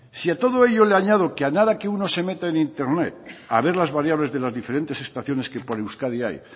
si a todo ello le añado que a nada que uno se mete en internet a ver las variables de las diferentes estaciones que por euskadi hay